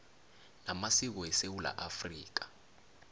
namasiko esewula afrika